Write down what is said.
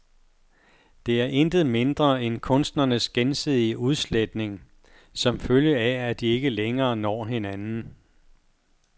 Det er intet mindre end kunstnernes gensidige udsletning, som følge af at de ikke længere når hinanden.